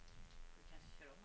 somras